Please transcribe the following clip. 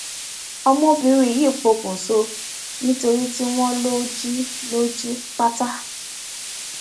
ọmọbìnrin yìí pọkùṣọ nítorí tí wọn lọ jí lọ jí pátá